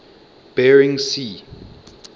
bering sea